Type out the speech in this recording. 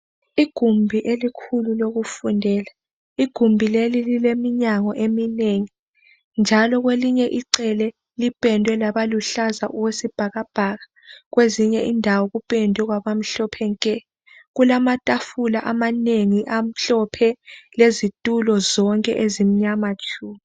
Igumbi elikhulu lokufundela. Igumbi leli lileminyango eminengi njalo kwelinye icele lipendwe laba luhlala okwesibhakabhaka, kwezinye indawo kupendwe kwabamhlophe nke. Kulamatafula amanengi amhlophe lezitulo zonke ezimnyama tshu.